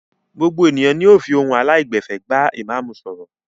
Gbogbo ènìyàn ni yóò fi ohun aláìgbẹ̀fẹ̀ bá ìmáámù sọ̀rọ̀.